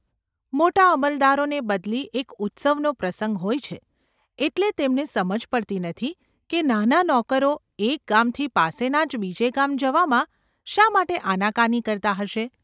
મોટા અમલદારોને બદલી એક ઉત્સવનો પ્રસંગ હોય છે એટલે તેમને સમજ પડતી નથી કે નાના નોકરો એક ગામથી પાસેના જ બીજે ગામ જવામાં શા માટે આનાકાની કરતા હશે.